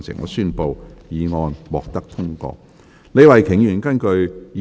我宣布議案獲得通過。